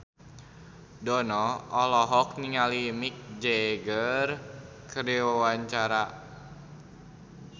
Dono olohok ningali Mick Jagger keur diwawancara